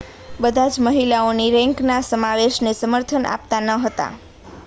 બધા જ મહિલાઓની રેન્કના સમાવેશને સમર્થન આપતા ન હતા